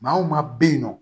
Maa o maa bɛ yen nɔ